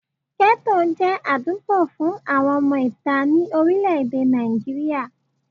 Gẹ́tò jẹ́ àdúgbò fun àwọn ọmọ ìta ní orílẹ̀ èdè Nàìjíríà